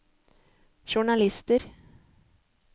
journalister